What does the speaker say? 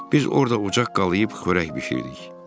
Biz orada ocaq qalıyıb xörək bişirdik.